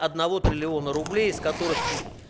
одного триллиона рублей из которых